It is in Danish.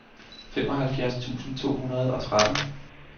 femoghalvfjerds tusind to hundrede og tretten